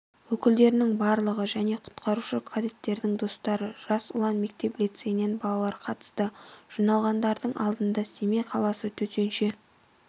өкілдерінің барлығы және құтқарушы-кадеттердің достары жас ұлан мектеп-лицейінен балалар қатысты жиналғандардың алдында семей қаласы төтенше